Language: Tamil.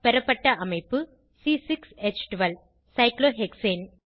பெறப்பட்ட அமைப்பு சைக்ளோஹெக்சேன்